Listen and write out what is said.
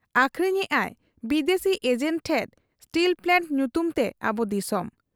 ᱟᱹᱠᱷᱨᱤᱧᱮᱜ ᱟᱭ ᱵᱤᱫᱟᱹᱥᱤ ᱮᱡᱮᱸᱴ ᱴᱷᱮᱫ ᱥᱴᱤᱞᱯᱞᱟᱱᱴ ᱧᱩᱛᱩᱢ ᱛᱮ ᱟᱵᱚ ᱫᱤᱥᱚᱢ ᱾